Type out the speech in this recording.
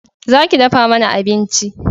Za ki dafa mana abinci!